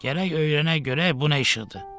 Gərək öyrənək görək bu nə işıqdır.